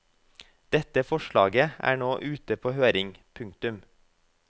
Dette forslaget er nå ute på høring. punktum